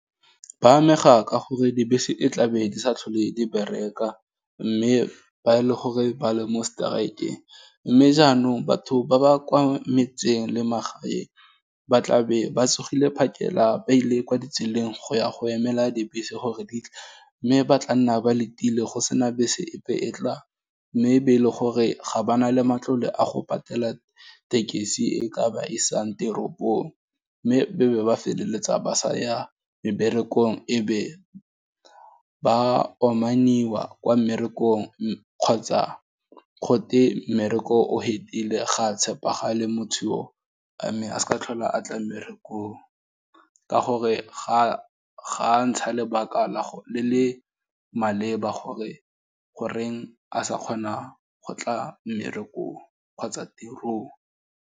Ba amega ka gore dibese e tlabe di sa tlhole di bereka, mme ba e le gore ba le mo strike-ng, mme jaanong batho ba ba kwa metseng le magaeng ba tlabe ba tsogile phakela ba ile kwa ditseleng go ya go emela dibese gore di tle, mme ba tla nna ba letile go sena bese epe e tlang, mme be e le gore ga ba na le matlole a go patela tekesi e ka ba isang teropong, mme be be ba feleletsa ba sa ya meberekong ebe, ba omannyiwa kwa mmerekong, kgotsa go te mmereko o fedile ga a tshepagale motho oo, mme a sa tlhole a tla mmerekong, ka gore ga ntsha lebaka la gore le le maleba gore goreng a sa kgona go tla mmerekong kgotsa tirong.